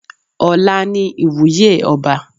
Ọ̀la ni ìwúyè ọba.